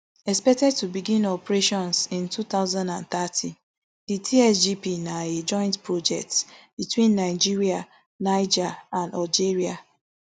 expected to begin operations in two thousand and thirty di tsgp na a joint project between nigeria niger and algeria